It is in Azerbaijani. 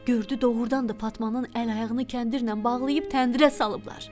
Gördü doğurdan da Fatmanın əl-ayağını kəndirlə bağlayıb təndirə salıblar.